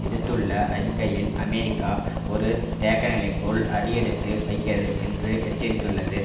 விடுத்துள்ள அறிக்கையில் அமெரிக்கா ஒரு தேக்க நிலைக்குள் அடியெடுத்து வைக்கிறது என்று எச்சரித்துள்ளது